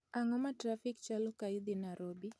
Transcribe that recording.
Ang'o ma trafik chalo ka idhi Nairobi